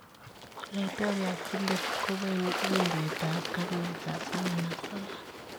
Laitoriat Philippe koo bo indet ab karnet ab 19.